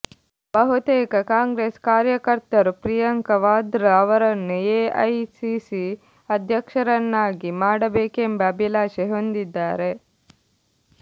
ಬಹುತೇಕ ಕಾಂಗ್ರೆಸ್ ಕಾರ್ಯಕರ್ತರು ಪ್ರಿಯಾಂಕಾ ವಾದ್ರಾ ಅವರನ್ನು ಎಐಸಿಸಿ ಅಧ್ಯಕ್ಷರನ್ನಾಗಿ ಮಾಡಬೇಕೆಂಬ ಅಭಿಲಾಷೆ ಹೊಂದಿದ್ದಾರೆ